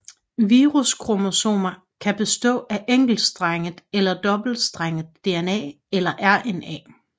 Viruskromosomer kan bestå af enkeltstrenget eller dobbeltstrenget DNA eller RNA